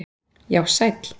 Já sæll!!!